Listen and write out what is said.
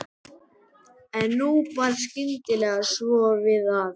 En nú bar skyndilega svo við að